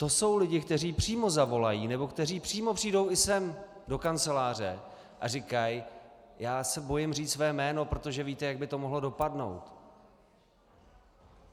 To jsou lidé, kteří přímo zavolají nebo kteří přímo přijdou i sem do kanceláře a říkají: Já se bojím říct své jméno, protože víte, jak by to mohlo dopadnout?